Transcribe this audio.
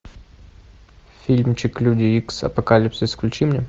фильмчик люди икс апокалипсис включи мне